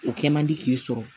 O kɛ man di k'i sɔrɔ